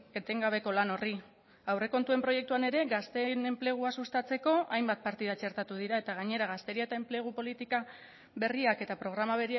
etengabeko lan horri aurrekontuen proiektuan ere gazteen enplegua sustatzeko hainbat partida txertatu dira eta gainera gazteria eta enplegu politika berriak eta programa